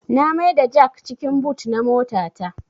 Na mai da jak cikin but na mota ta